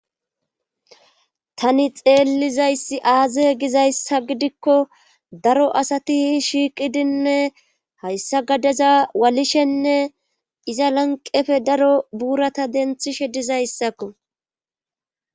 Tani xeellizayssi aazie gizayssa gidikko daro asati shiiqidinne hayssa gadaza walishenne iza lanqefe daro buurata denthishe dizayssakko.